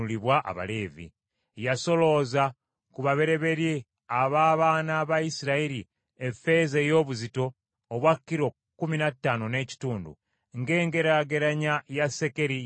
Yasolooza ku babereberye ab’abaana ba Isirayiri effeeza ey’obuzito obwa kilo kkumi na ttaano n’ekitundu, ng’engeraageranya ya sekeri y’awatukuvu bw’eri.